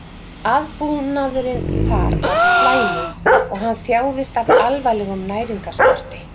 Aðbúnaðurinn þar var slæmur og hann þjáðist af alvarlegum næringarskorti.